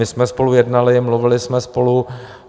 My jsme spolu jednali, mluvili jsme spolu.